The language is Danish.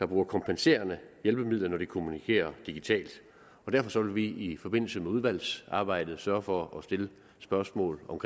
bruge kompenserende hjælpemidler når de kommunikerer digitalt derfor vil vi i forbindelse med udvalgsarbejdet sørge for at stille spørgsmål om